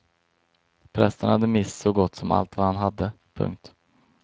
Prästen hade mist så gott som allt vad han hade. punkt